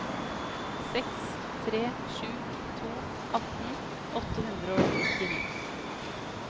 seks tre sju to atten åtte hundre og nittini